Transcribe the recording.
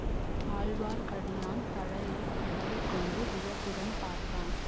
ஆழ்வார்க்கடியான் தலையை தடவிக்கொண்டு வியப்புடன் பார்த்தான்